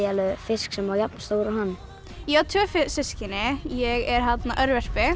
fisk sem var jafn stór og hann ég á tvö systkini ég er